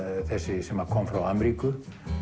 þessi sem kom frá Ameríku